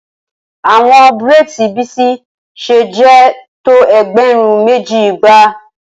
Awọn braids Bisi ṣe jẹ to ẹgbẹrun meji igba